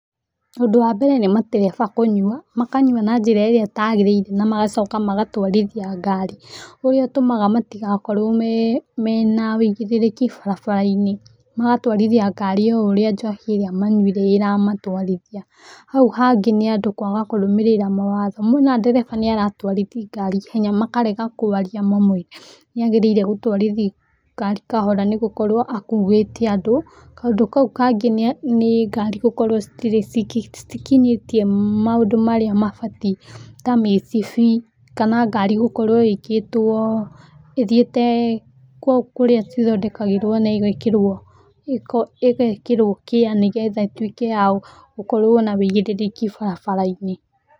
Ũndũ wa mbere nĩ matereba kũnyua, makanyua na njĩra ĩrĩa ĩtagĩrĩire na magacoka magatwarithia ngari, ũrĩa ũtũmaga matigakorwo na ũigĩrĩrĩki barabara-inĩ, magatwarithia ngari ũrĩa johi ĩyo manyuire ĩramatwarithia. Hau hangĩ nĩ andũ kũaga kũrũmĩrĩra mawatho moona ndereba nĩaratwarithia ngari ihenya makarega kũaria mamwĩre atwarithiĩ ngari kahora nĩ gũkworo akuĩte andũ. Kaũndu kau kangĩ nĩ ngari gũkorwo citirĩ citikinyĩtie maũndũ marĩa mabatiĩ ta mĩcibi, kana ngari gũkworo ĩkĩtwo ĩthiĩtĩ kũrĩa cithondekagĩrwo na igĩkĩrwo ngĩa nĩgetha ĩtuĩke ya gũkorwo na ũigĩrĩrĩki barabara-inĩ.